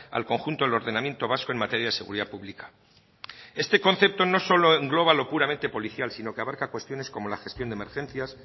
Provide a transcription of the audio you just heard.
al conjunto del ordenamiento vasco en materia de seguridad pública este concepto no solo engloba lo puramente policial sino que abarca cuestiones como la gestión de emergencias